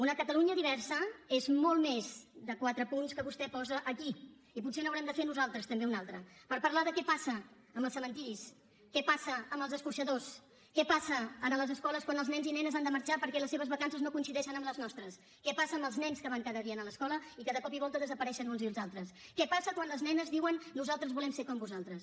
una catalunya diversa és molt més de quatre punts que vostè posa aquí i potser n’haurem de fer nosaltres també un altre per parlar de què passa amb els cementiris què passa amb els escorxadors què passa a les escoles quan els nens i nenes han de marxar perquè les seves vacances no coincideixen amb les nostres què passa amb els nens que van cada dia a l’escola i que de cop i volta desapareixen uns i uns altres què passa quan les nenes diuen nosaltres volem ser com vosaltres